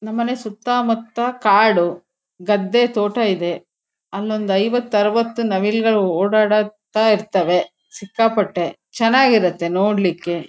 ನಮ್ ಮನೆ ಸುತ್ತಮುತ್ತ ಕಾಡು ಗದ್ದೆ ತೋಟ ಇದೆ ಅಲೊಂದು ಐವತು ಅರವತ್ ನಾವಿಲ್ ಗಳು ಓಡಾಡತ್ತ ಇರ್ತ್ತವೆ ಸಿಕ್ಕಾಪಟ್ಟೆ ಚೆನ್ನಾಗಿ ಇರುತ್ತೆ ನೋಡ್ಲಿಕ್ಕೆ .